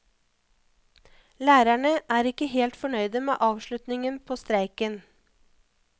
Lærerne er ikke helt fornøyde med avslutningen på streiken.